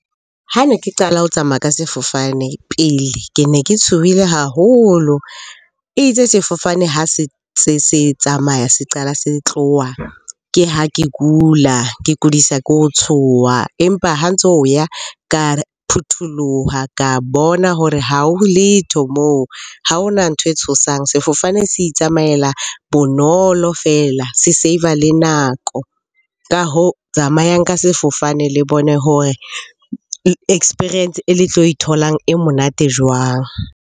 Ha ne ke qala ho tsamaya ka sefofane pele, ke ne ke tshohile haholo. E itse sefofane ha se se tsamaya, se qala se tloha ke ha ke kula. Ke kudisa ke ho tshoha, empa ha ntso o ya ka phutholoha. Ka bona hore ha ho letho moo, ha hona ntho e tshosang. Sefofane se itsamaela bonolo feela, se save-a le nako. Ka hoo, tsamayang ka sefofane le bone hore experience e le tlo e tholang e monate jwang?